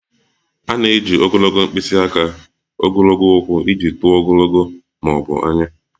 A na-eji ogologo mkpịsị aka, ogologo ụkwụ iji tụọ ogologo ma ọ bụ anya